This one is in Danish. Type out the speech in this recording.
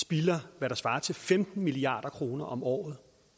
spilder hvad der svarer til femten milliard kroner om året